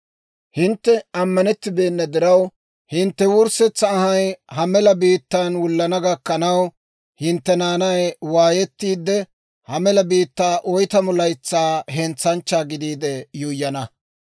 Hintte ammanettibeenna diraw, hintte wurssetsa anhay ha mela biittaa wullana gakkanaw, hintte naanay waayettiidde, ha mela biittaa oytamu laytsaa hentsanchchaa gidiide yuuyyana.